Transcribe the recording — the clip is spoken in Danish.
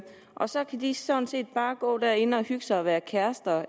og så kan de sådan set bare gå derinde og hygge sig og være kærester